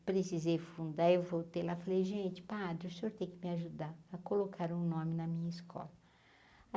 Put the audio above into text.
Eu precisei fundar, eu voltei lá e falei, gente, padre, o senhor tem que me ajudar a colocar um nome na minha escola.